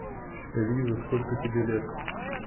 лиза сколько тебе лет